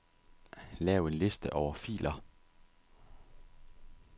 Lav en liste over filer.